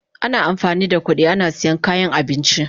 Ana amfani da kudi ana siyan kayan abinci.